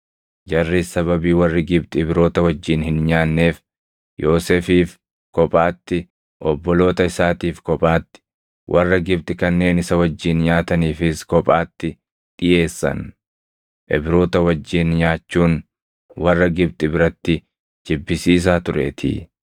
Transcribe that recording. Jarris sababii warri Gibxi Ibroota wajjin hin nyaanneef Yoosefiif kophaatti, obboloota isaatiif kophaatti, warra Gibxi kanneen isa wajjin nyaataniifis kophaatti dhiʼeessan; Ibroota wajjin nyaachuun warra Gibxi biratti jibbisiisaa tureetii.